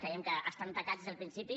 creiem que estan tacats des del principi